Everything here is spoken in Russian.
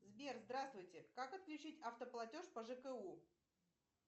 сбер здравствуйте как отключить автоплатеж по жку